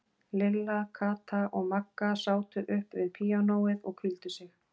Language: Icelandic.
Lilla, Kata og Magga sátu upp við píanóið og hvíldu sig.